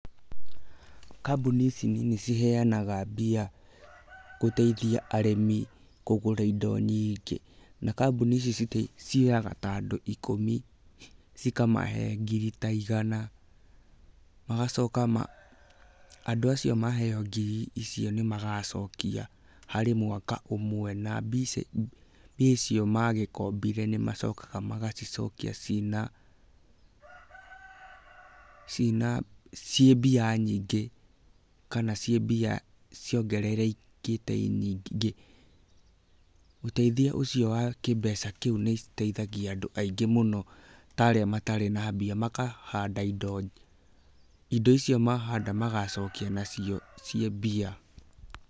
Kambuni ici nini ciheyanaga mbia gũteithia arĩmi kũgũra indo nyingĩ, na kambuni ici cioyaga andũ ta ikũmi cikamahe ngiri ta igana, magacoka andũ acio maheyo ngiri icio nĩ magacokia harĩ mwaka ũmwe, na mbia icio magĩkombire nĩ macokaga magacicokia cĩina, ciĩ mbia nyingĩ kana ciĩ mbia ciongererekete nyingĩ, ũteithio ũcio wa kĩmbeca kĩu nĩ ũteithagia andũ aingĩ mũno ta arĩa matarĩ na mbia makahanda indo. Indo icio mahanda magacokia nacio ciĩ mbia.